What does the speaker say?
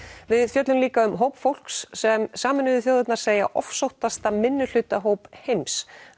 við fjöllum líka um hóp fólks sem Sameinuðu þjóðirnar segja ofsóttasta minnihlutahóp heims